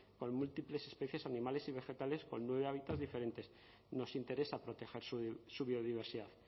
con múltiples especies animales y vegetales con nueve hábitats diferentes nos interesa proteger su biodiversidad